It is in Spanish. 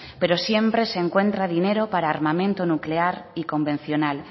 pero siempre se encuentran dinero para armamento nuclear y convencional